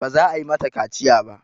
Ba za a yi mata kaciya ba.